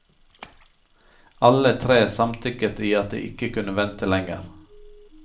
Alle tre samtykket i at de ikke kunne vente lenger.